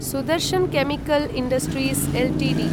Sudarshan chemical industries Ltd